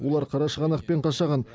олар қарашығанақ пен қашаған